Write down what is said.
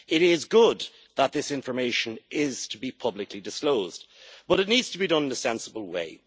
It is good that this information is to be publicly disclosed, but it needs to be done in a sensible way.